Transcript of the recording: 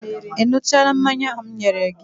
Ị ṅụchaala mmanya ahụ m nyere gị?